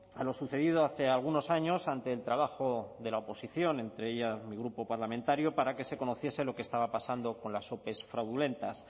a lo sucedido hace algunos años ante el trabajo de la oposición entre ella mi grupo parlamentario para que se conociese lo que estaba pasando con las ope fraudulentas